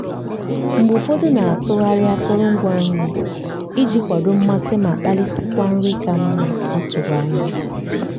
mgbe ụfọdụ na-atụgharị akụrụngwa nri iji kwado mmasị ma kpalitekwa nri ka mma a tụrụ anya.